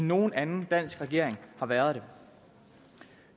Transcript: nogen anden dansk regering har været det